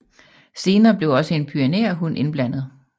Senere blev også en pyreneerhund indblandet